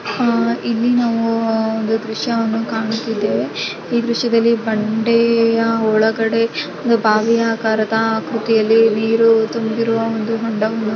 ಆಹ್ಹ್ ಇಲ್ಲಿ ನಾವು ಆಹ್ಹ್ ಒಂದು ದೃಶ್ಯವನ್ನು ಕಾಣುತ್ತಿದ್ದೇವೆ ಈ ದೃಶ್ಯದಲ್ಲಿ ಬಂಡೆಯ ಒಳಗಡೆ ಒಂದ್ ಬಾವಿ ಆಕಾರದ ಆಕೃತಿಯಲ್ಲಿ ನೀರು ತುಂಬಿರುವ ಹೊಂಡವನ್ನು--